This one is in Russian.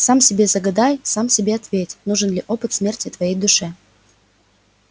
сам себе загадай сам себе ответь нужен ли опыт смерти твоей душе